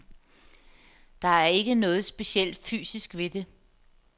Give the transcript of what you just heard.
Der er ikke noget specielt fysisk ved det.